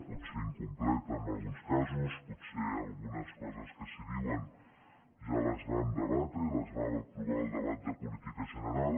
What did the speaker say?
potser incompleta en alguns casos potser algunes coses que s’hi diuen ja les vam debatre i les vam apro·var al debat de política general